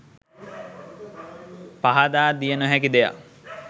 පහදා දිය නොහැකි දෙයක්